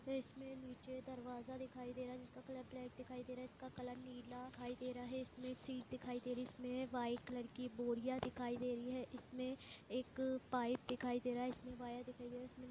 इसमे नीचे दरवाजा दिखाई दे रहा है जिसका कलर ब्लैक दिखाई दे रहा हैं नीला कलर दिखाई दे रहा है